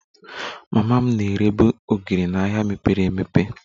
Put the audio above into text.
Mama m na-erebu ogiri n'ahịa mepere emepe